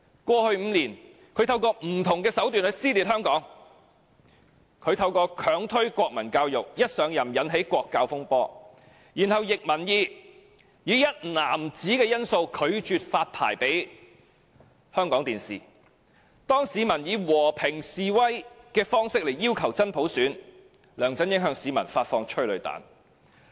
過去5年，他透過不同的手段去撕裂香港：透過強推國民教育，一上任便引起國教風波；然後，他逆民意而行，以"一男子"因素拒絕發牌予香港電視；當市民以和平示威方式要求真普選，梁振英向市民發射催淚彈。